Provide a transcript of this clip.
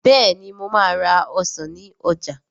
Bẹ́ẹ̀ni mo máa ra ọsàn ní ọjà